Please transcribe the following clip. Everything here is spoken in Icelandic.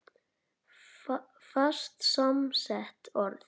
Fast samsett orð